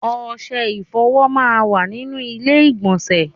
Ọṣẹ ìfọ̀wọ máa ń wà nínú ilé ìgbọ̀nsẹ̀.